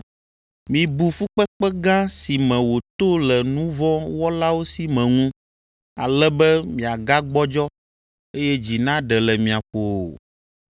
Mibu fukpekpe gã si me wòto le nu vɔ̃ wɔlawo si me ŋu, ale be miagagbɔdzɔ, eye dzi naɖe le mia ƒo o.